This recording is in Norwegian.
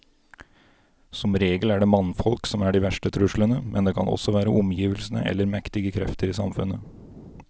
Som regel er det mannfolk som er de verste truslene, men det kan også være omgivelsene eller mektige krefter i samfunnet.